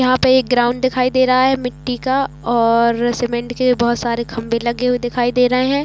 यहाँ पे एक ग्राउंड दिखाई दे रहा है मिट्टी का और सीमेंट के बहोत सारे खंभे लगे हुए दिखाई दे रहे है।